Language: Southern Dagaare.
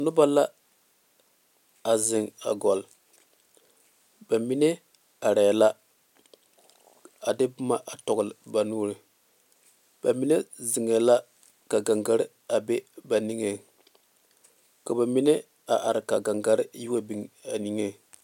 Noba la zeŋe a gɔloŋ ba mine are la a de boma tɔle ba nuuri mine zeŋe la ka gaŋgare be ba niŋe ka ba mine are ka gaŋgare yi wa biŋ ba niŋe.